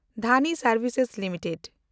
ᱫᱷᱟᱱᱤ ᱥᱮᱱᱰᱵᱷᱤᱥ ᱞᱤᱢᱤᱴᱮᱰ